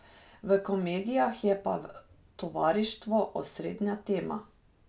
V komedijah je pa tovarištvo osrednja tema.